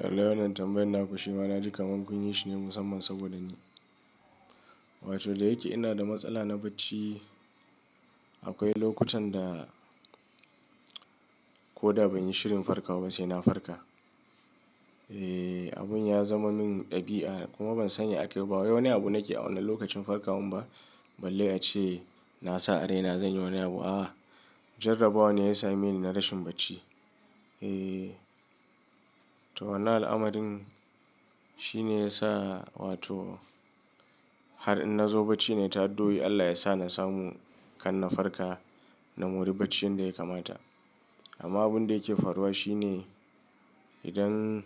Lalle wannan tambayan naku shima, na ji kaman kun yi shi ne musamman saboda ni. Wato, da yake ina da matsala na bacci, akwai lokutan da koda ban yi shirin farkawa ba sai na farka. Eeh, abun ya zama min ɗabi'a kuma ban sani a kayiba bawai wani abu nake a wannan lokacin farkawan ba. Balle ace na sa a raina zan yi wani abu. A'a, jarrabawa ne ya same ni na rashin bacci. Eeh, to wannan al'amarin shine yasa wato har in nazo bacci nayi ta addu'oi Allah yasa nasamu karna farka na mori bacci yadda ya kamata amma abunda yake faruwa shine idan,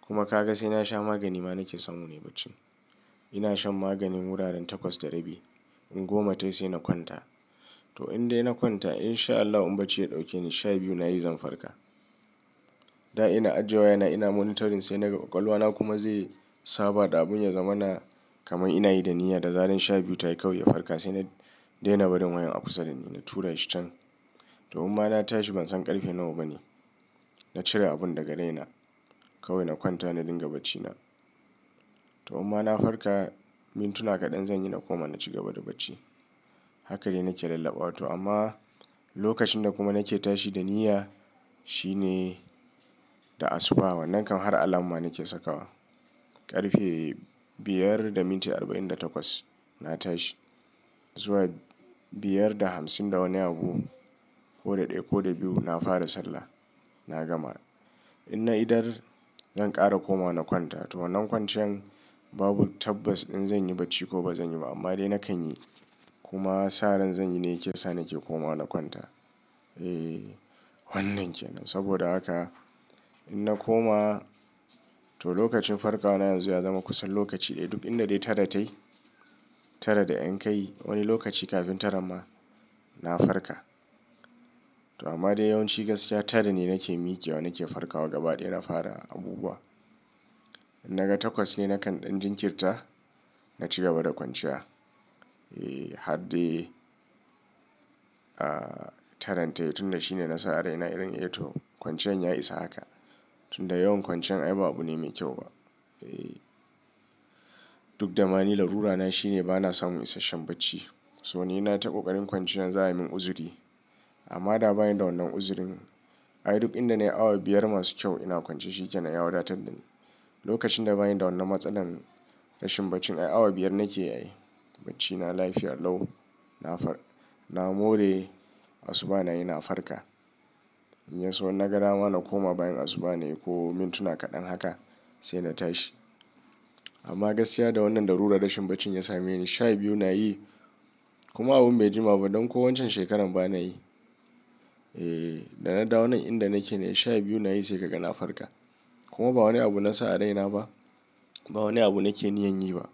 kuma kaga saina sha magani ma nake samu nayi bacci ina shan maganin wuraren takwas da rabi, in goma tai sai na kwanta. To in dai na kwanta in sha Allah in bacci ya ɗauke ni, sha biyu na yi zan farka. Da ina ajiye waya na ina monitoring sai na ga ƙwaƙwalwa na kuma zai saba da abun ya zama na kaman ina yi da niyya da zaren sha biyu ta yi kawai ya farka sai na daina barin wayan a kusa dani, na tura shi can. To umma na tashi ban san ƙarfe nawa bane. Na cire abun daga raina kawai na kwanta na dinga bacci na. To umma na farka mintuna kaɗan zan yi na koma na ci gaba da bacci. Haka de na ke lallaɓawa to amma lokacin da kuma na ke tashi da niyya shine da asuba wa. Nan kam har alarm na ke sakawa. Ƙarfe biyar da minti arba'in da takwas na tashi. Zuwa biyar da hamsin da wani abu, ko da ɗaya ko da biyu na fara sallah, na gama. Ina idar zan ƙara komawa na kwanta. To wannan kwanciyan babu tabbas in zan yi bacci ko ba zan yi ba amma dai na kan yi. Kuma sa'an zan yi ne yake sa na ke koma na kwanta. Eeh, wannan kenan. Saboda haka in na koma, to lokacin farka wa na yanzu ya zama kusan lokaci ɗaya. Duk inda dai tara tai, tara da ƴan kai wani lokaci kafin taran ma na farka. To amma dai yawanci gaskiya tara ne na ke miƙewa, na ke farkawa gaba ɗaya na fara abubuwa. In naga takwas ce nakan ɗan jinkirta naci gaba da kwanciya. Eeh, har dai, ah, taran tayi tunda shine na sa a raina irin eh to kwanciyan ya isa haka. Tunda yawan kwanciyan ai ba abu ne mai kyau ba. Eeh, duk damani larura na shine ba na samun isasshen bacci. To ni na ta ƙoƙarin kwanciyan za'a yi min uzuri. Amma da bani da wannan uzurin. Ai duk inda nayi awa biyar masu kyau ina kwance shi kenan ya wadatar da ni. Lokacin da bani da wannan matsalan rashin bacci ai awa biyar na keyi ai bacci na lafiya a lau na far-- na more asuba nayi na farka. In yaso innagada ma na koma bayan asuba nayi ko mintuna kaɗan haka sai na tashi. Amma gaskiya da wannan larurar rashin bacci ya same ni, sha biyu na yi kuma abin bai jima ba don ko waccan shekarar ba na yi. Eeh, da na dawo nan inda na ke ne sha biyu na yi sai ka ga na farka. Kuma ba wani abu nasa a raina ba, ba wani abu nake niyyar yi ba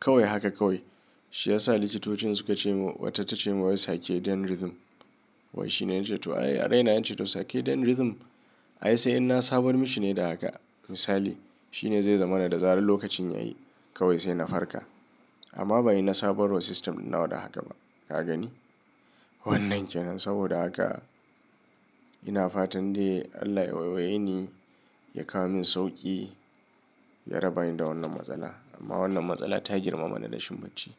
kawai haka kawai. Shi ya sa likitocin suka ce mun, wata ta ce mun wai sake dan rhythm. Wai shi ne, ya ce to ai a raina nace to sake dian rhythm. Ai sai inna sabar mishi ne da haka misali, shi ne zai zama na da zarin lokacin ya yi kawai sai na farka. Amma bani na sabar wa system ɗin nawa da haka ba. Ka gani? Wannan kenan saboda haka ina fatan dai Allah ya waiwaye ni, ya kawo min sauƙi, ya raba ni da wannan matsalar. Amma wannan matsala ta girmama na rashin bacci.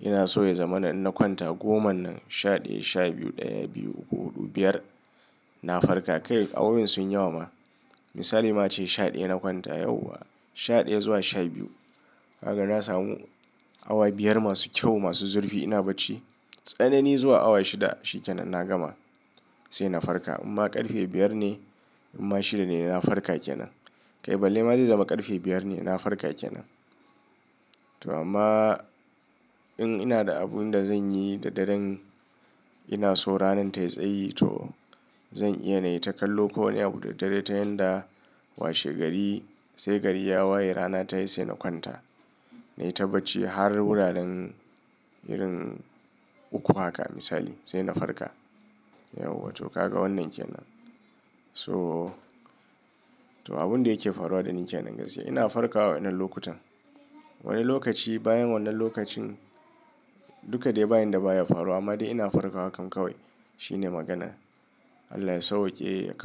Ina so ya zama na in na kwanta goma nan, sha ɗaya, sha biyu, ɗaya, biyu, uku, huɗu, biyar na farka. Kai awowin sunyi yawa ma misali ma ace shaɗaya na kwanta, shaɗaya zuwa shabiyu kaga na samu awa biyar masu kyau, masu zurfi ina bacci. Tsanani zuwa awa shida shi kenan na gama sai na farka. Imma ƙarfe biyar ne, imma shida ne na farka kenan. Kai balle ma zai zama ƙarfe biyar ne ina farka kenan. To amma in ina da abun da zan yi da daren ina so ranar ta yi tsayi to zan iya na yi ta kallo ko wani abu da daddare ta yanda washe gari sai gari ya waye rana ta yi sai na kwanta. Na yi ta bacci har wuraren irin uku haka misali sai na farka. Yauwa to ka ga wannan kenan. To, to abun da yake faruwa da ni kenan gaskiya ina farkawa a wannan lokutan. Wani lokaci bayan wannan lokacin, duka dai ba yanda baya faruwa, amma dai ina farkawa kam kawai. Shi ne maganar. Allah ya sauƙe.